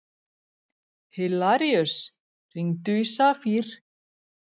Hilaríus, hringdu í Safír.